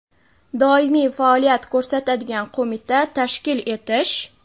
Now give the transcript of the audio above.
doimiy faoliyat ko‘rsatadigan qo‘mita tashkil etish;.